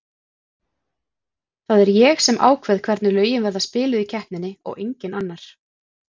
Það er ég sem ákveð hvernig lögin verða spiluð í keppninni og enginn annar.